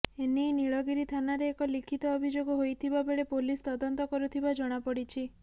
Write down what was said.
ଏନେଇ ନୀଳଗିରି ଥାନରେ ଏକ ଲିଖିତ ଅଭିଯୋଗ ହୋଇଥିବା ବେଳେ ପୋଲିସ ତଦନ୍ତ କରୁଥିବା ଜଣାପଡିଛି